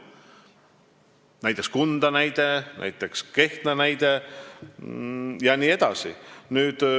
Näiteks Kunda, näiteks Kehtna jne.